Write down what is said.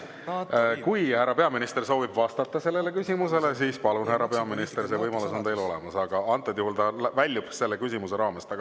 Kui härra peaminister soovib sellele küsimusele vastata, siis palun, härra peaminister, see võimalus on teil olemas, aga see küsimus väljub teema raamest.